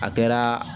A kɛra